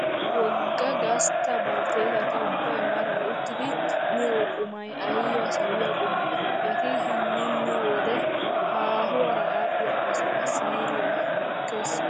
Wogga gastta baltteetati ubbayi maaraata uttidi miyo qumayi ayiba sawiyaa qumee. Eti hinin miyoo wode haahuwaara aadhdhiyaa asaa siiriyaa xukkes.